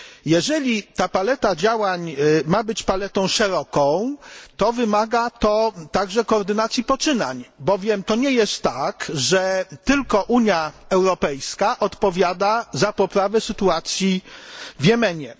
Jeżeli ta paleta działań ma być paletą szeroką, to wymaga to także koordynacji poczynań, bowiem nie tylko Unia Europejska odpowiada za poprawę sytuacji w Jemenie.